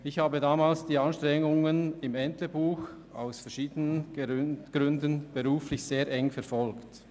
Ich verfolgte damals aus beruflichen Gründen die Anstrengungen im Entlebuch sehr nah.